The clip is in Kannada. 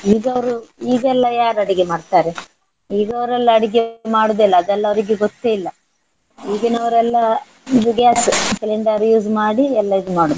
ಈಗ ಅವರು ಈಗ ಎಲ್ಲ ಯಾರ್ ಅಡಿಗೆ ಮಾಡ್ತಾರೆ. ಈಗ ಅವರೆಲ್ಲ ಅಡಿಗೆ ಮಾಡುವುದಿಲ್ಲ ಅದೆಲ್ಲ ಅವರಿಗೆ ಗೊತ್ತೇ ಇಲ್ಲ. ಈಗಿನವರೆಲ್ಲ ಇದು gas cylinder use ಮಾಡಿ ಎಲ್ಲ ಇದ್ ಮಾಡುವುದು.